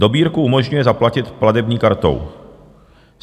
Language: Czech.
Dobírku umožňuje zaplatit platební kartou.